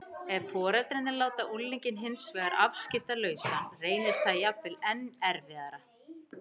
Ef foreldrarnir láta unglinginn hins vegar afskiptalausan reynist það jafnvel enn erfiðara.